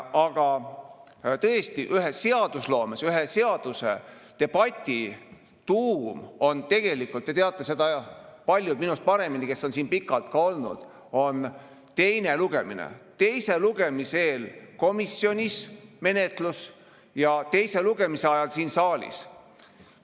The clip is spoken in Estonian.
Ja tõesti, seadusloomes ühe seaduse debati tuum on – tegelikult paljud, kes on siin pikalt olnud, teavad seda minust paremini – teine lugemine, teise lugemise eel menetlus komisjonis ja teise lugemise ajal siin saalis.